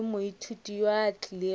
le moithuti yo a otlilego